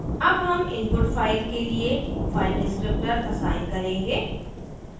अब हम input file के लिए फाइल descriptor असाइन करेंगे